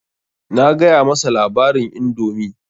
Na gaya masa labarin indomi.